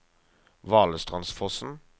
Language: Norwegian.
Valestrandsfossen